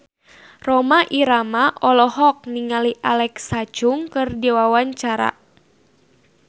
Rhoma Irama olohok ningali Alexa Chung keur diwawancara